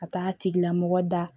Ka taa a tigilamɔgɔ da